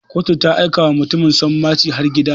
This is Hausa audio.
Kotu ta aika wa mutumin sanmaci har gida.